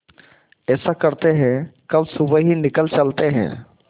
ऐसा करते है कल सुबह ही निकल चलते है